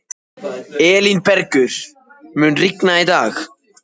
Elínbergur, mun rigna í dag?